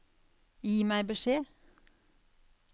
Gi meg beskjed